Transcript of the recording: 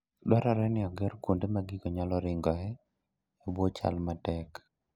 Dwarore ni oger kuonde ma gigo nyalo ringoe e bwo chal matek.